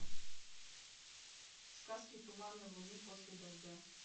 сказки туманной луны после дождя